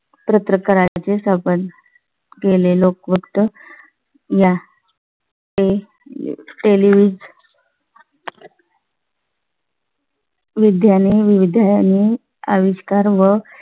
प्रयत्न करायचे संबंध केले लोक फक्त या चे टेलिव्ही विद्याने विधाने अविष्कार व